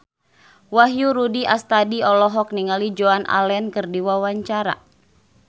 Wahyu Rudi Astadi olohok ningali Joan Allen keur diwawancara